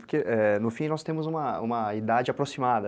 Porque, é, no fim, nós temos uma idade aproximada.